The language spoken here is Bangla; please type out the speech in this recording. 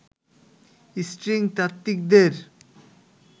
স্ট্রিং তাত্ত্বিকদের